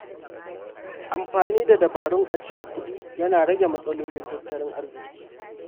Amfani da dabarun ajiyar kuɗi ya na rage matsalolin tattalin arziƙi.